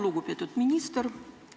Lugupeetud minister!